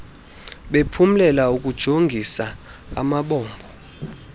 bephumlela ukujongis amabombo